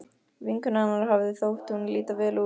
Vinkonu hennar hafði þótt hún líta vel út.